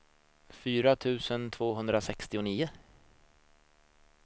fyra tusen tvåhundrasextionio